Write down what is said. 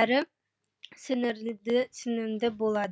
әрі сіңімді болады